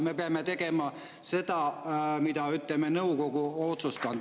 Me peame tegema seda, mida nõukogu otsustab.